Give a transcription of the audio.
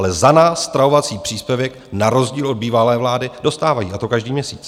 Ale za nás stravovací příspěvek, na rozdíl od bývalé vlády, dostávají, a to každý měsíc.